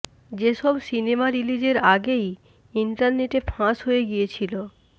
যে সব সিনেমা রিলিজের আগেই ইন্টারনেটে ফাঁস হয়ে গিয়েছিল